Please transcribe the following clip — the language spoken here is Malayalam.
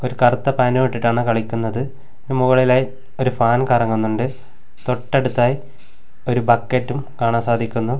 ഒരു കറുത്ത പാന്റും ഇട്ടിട്ടാണ് കളിക്കുന്നത് മുകളിലായി ഒരു ഫാൻ കറങ്ങുന്നുണ്ട് തൊട്ടടുത്തായി ഒരു ബക്കറ്റും കാണാൻ സാധിക്കുന്നു.